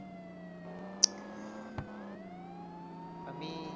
আমি